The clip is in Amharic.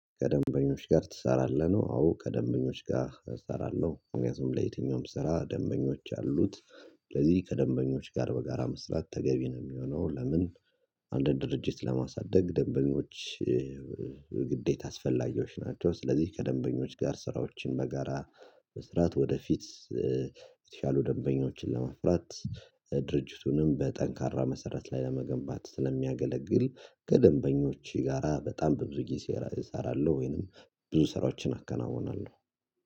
ከደንበኞች ጋር ትሰራለህ? ነው አዎ ከደንበኞች ጋር እሰራለሁ ምክንያቱም ለየትኛውም ስራ ደንበኞች አሉት ስለዚህ ከደንበኞች ጋር በጋራ መስራት ተገቢ ነው የሚሆነው። ለምን? አንድ ድርጅት ለማሳደግ ደንበኞች ግዴታ አስፈላጊዎች ናቸው። ስለዚህ ከደንበኞች ጋር ስራዎችን በጋራ መስራት ወደፊት የተሻሉ ደንበኞችን ለመፍራት ድርጅቱንም በጠንካራ መሰረት ላይ ለመገንባት ስለሚያገለግል ከደንበኞች ጋራ በጣም በብዙ ጊዜ እሰራለሁ። ወይንም ብዙ ስራዎችን አከናውናለሁ